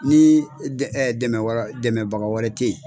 Ni ɛɛ dɛmɛbaga wɛrɛ te yen